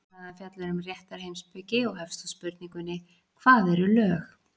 Samræðan fjallar um réttarheimspeki og hefst á spurningunni Hvað eru lög?